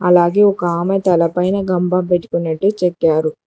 అలాగే ఒక ఆమె తలపైన గంప పెట్టుకున్నట్టు చెక్కారు.